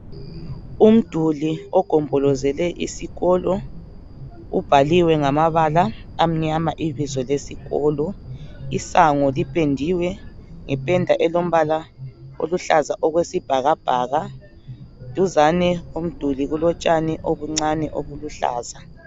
Umduli ogombombolozele isikolo ubhaliwe ngamabala amnyama ibizo lesikolo , isango lipendiwe ngependa elombala eluhlaza okwesibhakabhaka, duzane lomduli kulotshani obuncane obuluhlaza